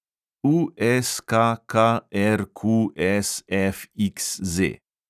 USKKRQSFXZ